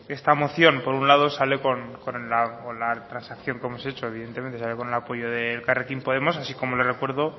esta moción por un lado sale con la transacción como se ha dicho evidentemente sale con el apoyo de elkarrekin podemos así como le recuerdo